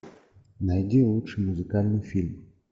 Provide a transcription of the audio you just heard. найди лучший музыкальный фильм